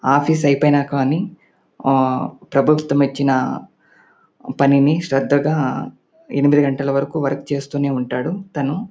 Office అయిపోయిన కానీ ఆ ప్రభుత్వం ఇచ్చిన పనిని శ్రద్దగా ఎనిమిది గంటల వరకు వర్క్ చేస్తూనే ఉంటాడు తను.